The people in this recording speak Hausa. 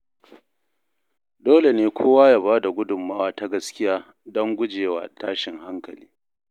Dole ne kowa ya bada gudunmawa ta gaskiya don guje wa tashin hankali.